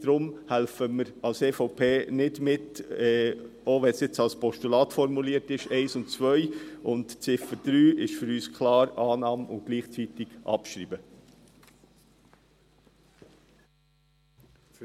Deshalb helfen wir als EVP nicht mit, die Punkte 1 und 2 anzunehmen, auch nicht als Postulat.